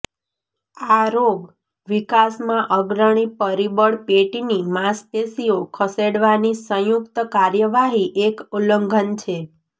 આ રોગ વિકાસમાં અગ્રણી પરિબળ પેટની માંસપેશીઓ ખસેડવાની સંયુક્ત કાર્યવાહી એક ઉલ્લંઘન છે